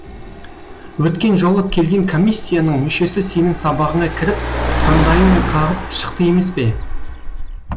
өткен жолы келген комиссияның мүшесі сенің сабағыңа кіріп таңдайын қағып шықты емес пе